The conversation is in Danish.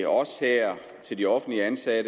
os her til de offentligt ansatte